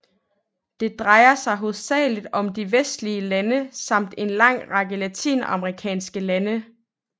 Det drejer sig hovedsageligt om de vestlige lande samt en lang række latinamerikanske lande